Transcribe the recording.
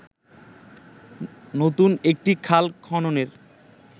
নতুন একটি খাল খননের